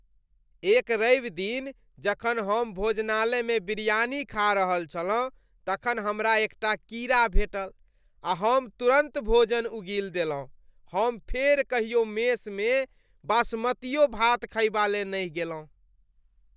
एक रविदिन जखन हम भोजनालयमे बिरयानी खा रहल छलहुँ तखन हमरा एकटा कीड़ा भेटल आ हम तुरन्त भोजन उगील देलहुँ। हम फेर कहियो मेसमे बासमतीयो भात खयबा ले नहि गेलहुँ ।